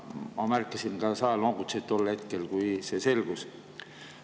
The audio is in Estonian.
Ma märkasin ka, et sa noogutasid tol hetkel, kui see selgus.